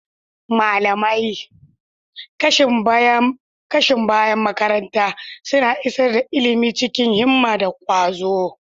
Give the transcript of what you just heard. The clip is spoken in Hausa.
Malamai, kashin bayan makaranta, suna isar da ilimi cikin himma da kwazo.